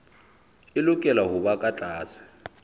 e lokela hoba ka tlase